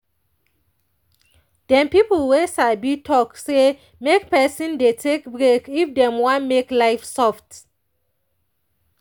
dem people wey sabi talk say make person dey take break if dem wan make life soft.